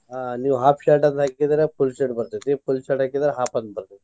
ಆಹ್ ನೀವ್ half shirt ದು ಹಾಕಿದ್ರ full shirt ಬರ್ತೆತಿ full shirt ಹಾಕಿದ್ರ half ಆಗ್ ಬರ್ತೆತಿ.